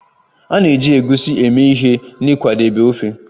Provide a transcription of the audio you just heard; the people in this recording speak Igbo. A na-eji Egusi eme ihe n'ịkwadebe ofe